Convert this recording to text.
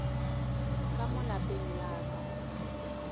ka mo lapeng la ka